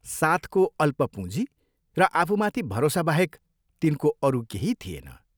साथको अल्प पूँजी र आफूमाथि भरोसाबाहेक तिनको अरू केही थिएन।